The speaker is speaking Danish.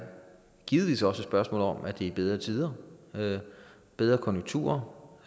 givetvis også et spørgsmål om at det er bedre tider bedre konjunkturer